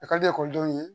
A ka di ekɔlidenw ye